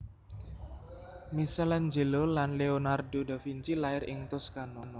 Michaelangelo lan Leonardo da Vinci lair ing Toscano